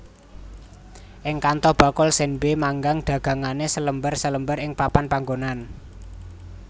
Ing Kanto bakul senbei manggang dagangane salembar salembar ing papan panggonan